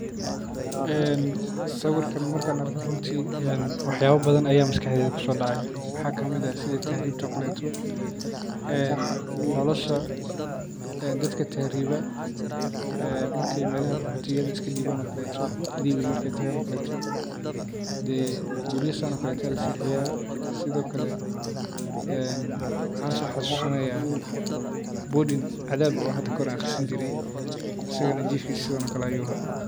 sawirkan markaan arko runtii wax badan ayaa masakadeyda kusodacaa waxaa kamid ah sida tahriibta ookale dadka meelaha iskadiba ookaleeto markay ay melaha qoxootiyada iskadibaan oo kale marxaa soo xasuusinaya boarding aan somare jifkiisa sidaan ookale ayu ahaa